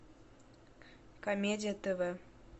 комедия тв